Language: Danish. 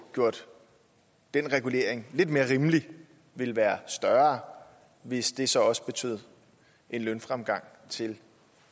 gjort den regulering lidt mere rimelig ville være større hvis det så også betød en fremgang til